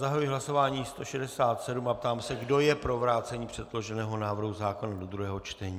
Zahajuji hlasování 167 a ptám se, kdo je pro vrácení předloženého návrhu zákona do druhého čtení.